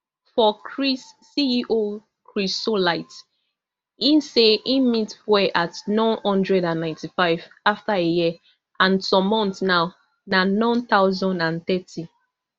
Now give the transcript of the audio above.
for chris ceochrysolite e say im meet fuel at n one hundred and ninety-five afta a year and some months now na none thousand and thirty